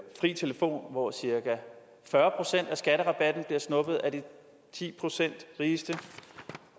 fri telefon hvor cirka fyrre procent af skatterabatten bliver snuppet af de ti procent rigeste